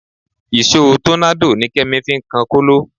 Ìṣó tọ́nádò ni Kẹ́mi fi ń kan kóló